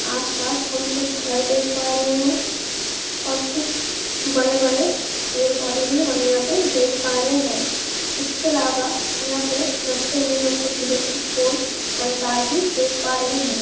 आस पास हम कुछ घर देख पा रहे हैं और कुछ बड़े-बड़े पेड़ पौधे भी हम यहाँ पे देख पा रहें हैं इसके अलावा यहाँ पे रस्ते पे हम कुछ इलेक्ट्रिक पोल एंड तार भी देख पा रहें है।